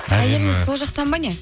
әйеліңіз сол жақтан ба не